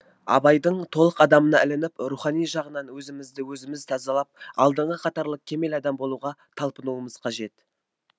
абайдың толық адамына ілініп рухани жағынан өзімізді өзіміз тазалап алдыңғы қатарлы кемел адам болуға талпынуымыз қажет